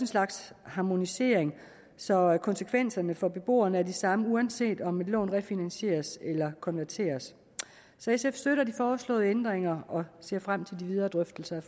slags harmonisering så konsekvenserne for beboerne er de samme uanset om et lån refinansieres eller konverteres så sf støtter de foreslåede ændringer og ser frem til de videre drøftelser